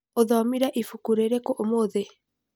ũthomire ibuku rĩrĩkũ ũmũthĩ?